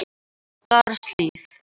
Skarðshlíð